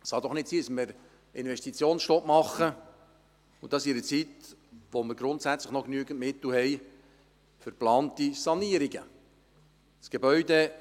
Es kann doch nicht sein, dass wir einen Investitionsstopp machen, und dies in einer Zeit, in der wir grundsätzlich noch genügend Mittel für geplante Sanierungen haben.